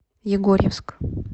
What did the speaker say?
егорьевск